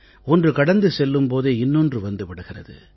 ஒன்று கடந்து செல்லும் போதே இன்னொன்று வந்து விடுகிறது